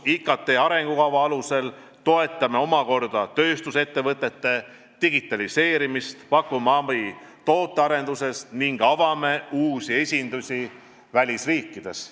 IKT arengukava alusel toetame omakorda tööstusettevõtete digitaliseerimist, pakume abi tootearenduses ning avame uusi esindusi välisriikides.